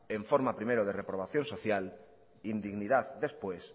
en forma primero de reprobación social indignidad después